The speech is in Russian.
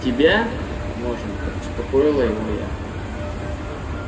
тебя можно успокоила его я